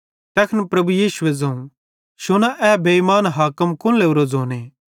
तैखन प्रभु यीशुए ज़ोवं शुना ए बेइमान हाकिम कुन लोरोए ज़ोने